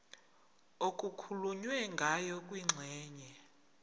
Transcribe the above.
okukhulunywe ngayo kwingxenye